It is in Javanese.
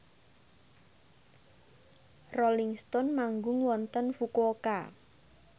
Rolling Stone manggung wonten Fukuoka